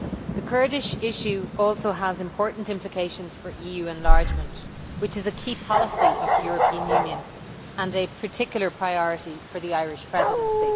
The Kurdish issue also has important implications for EU enlargement, which is a key policy of the European Union and a particular priority for the Irish Presidency.